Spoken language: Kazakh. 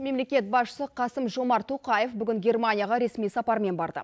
мемлекет басшысы қасым жомарт тоқаев бүгін герменияға ресми сапармен барды